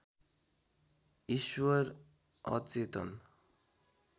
ईश्वर अचेतन